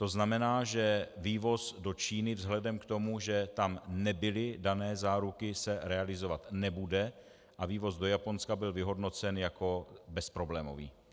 To znamená, že vývoz do Číny vzhledem k tomu, že tam nebyly dány záruky, se realizovat nebude a vývoz do Japonska byl vyhodnocen jako bezproblémový.